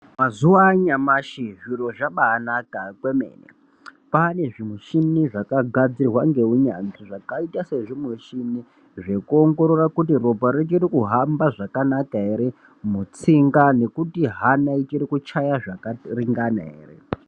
Mazuwa anyamashi zviro zvabaanaka kwemene, kwaane zvimuchini zvakagadzirwa ngeunyanzvi zvakaita sekuongorora kuti ropa richiri kuhamba zvakanaka ere mutsinga nekuti hana ichiri kuchaya zvakaringana ere.